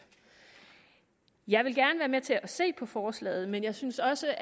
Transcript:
jeg vil gerne være med til at se på forslaget men jeg synes også